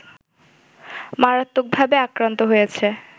মারাত্মকভাবে আক্রান্ত হয়েছে